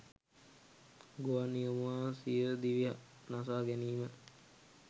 ගුවන් නියමුවා සියදිවි නසා ගැනීම